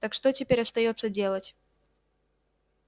так что теперь остаётся делать